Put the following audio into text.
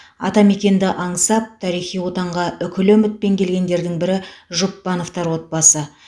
атамекенді аңсап тарихи отанға үкілі үмітпен келгендердің бірі жұпбановтар отбасы